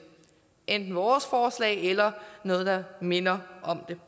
enten vores forslag eller noget der minder om det